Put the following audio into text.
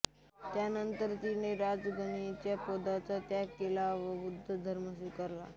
त्यानंतर तिने आपल्या राजगणिकेच्या पदाचा त्याग केला व बौद्ध धर्म स्वीकारला